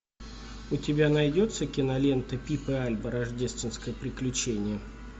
у тебя найдется кинолента пип и альба рождественское приключение